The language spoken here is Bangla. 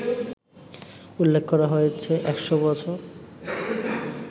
উল্লেখ করা হয়েছে ১০০ বছর